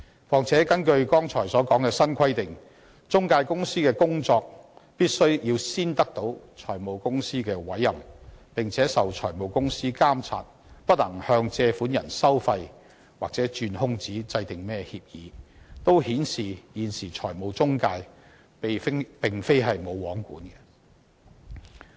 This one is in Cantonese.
況且，根據剛才提到的新規定，中介公司必須先得到財務公司的委任，並且受財務公司監察，不能向借款人收費或鑽空子制訂協議等，也顯示出現時的財務中介並非"無皇管"。